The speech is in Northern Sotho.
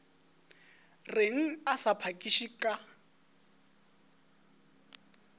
reng a sa phakiše ka